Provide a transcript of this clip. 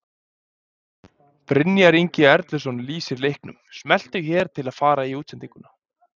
Brynjar Ingi Erluson lýsir leiknum, Smelltu hér til að fara í útsendinguna